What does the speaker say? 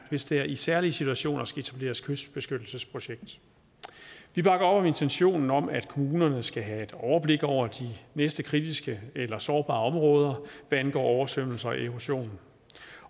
hvis der i særlige situationer skal etableres et kystbeskyttelsesprojekt vi bakker op om intentionen om at kommunerne skal have et overblik over de næste kritiske eller sårbare områder hvad angår oversvømmelse og erosion